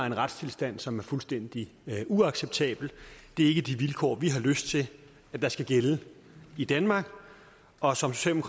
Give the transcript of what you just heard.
en retstilstand som er fuldstændig uacceptabel det er ikke de vilkår vi har lyst til skal gælde i danmark og som som